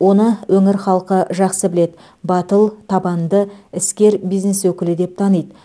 оны өңір халқы жақсы біледі батыл табанды іскер бизнес өкілі деп таниды